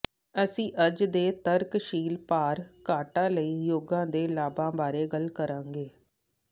ਅਸੀਂ ਅੱਜ ਦੇ ਤਰਕਸ਼ੀਲ ਭਾਰ ਘਾਟਾ ਲਈ ਯੋਗਾ ਦੇ ਲਾਭਾਂ ਬਾਰੇ ਗੱਲ ਕਰਾਂਗੇ